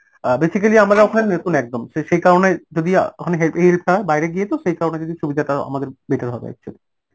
অ্যাঁ basically আমরা ওখানে নতুন একদম সেই কারণে যদি ওখানে হে~ help হয়, বাইরে গিয়ে তো সেই কারণে যদি সুবিধাটা আমাদের better হবে actually